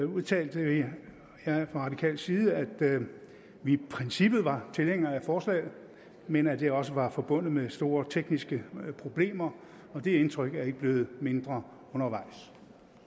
udtalte jeg fra radikal side at vi i princippet var tilhængere af forslaget men at det også var forbundet med store tekniske problemer og det indtryk er ikke blevet mindre undervejs